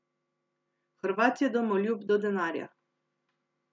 Hrvat je domoljub do denarja.